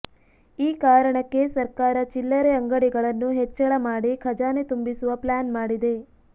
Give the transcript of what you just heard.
ಈ ಕಾರಣಕ್ಕೆ ಸರ್ಕಾರ ಚಿಲ್ಲರೆ ಅಂಗಡಿಗಳನ್ನು ಹೆಚ್ಚಳ ಮಾಡಿ ಖಜಾನೆ ತುಂಬಿಸುವ ಪ್ಲಾನ್ ಮಾಡಿದೆ